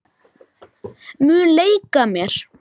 Langar ekki að vera það.